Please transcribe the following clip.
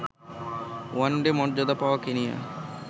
one day মর্যাদা পাওয়া Kenya